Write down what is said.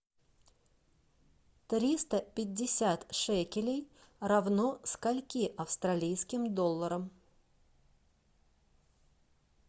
триста пятьдесят шекелей равно скольким австралийским долларам